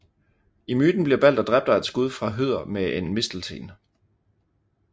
I myten bliver Balder dræbt af et skud fra Høder med en mistelten